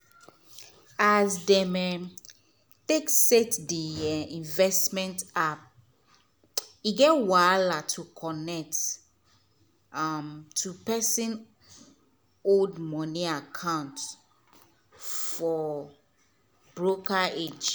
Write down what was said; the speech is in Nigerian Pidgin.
as dem um take set the um investment app e get wahala to connect um to pesin old money account for broker age.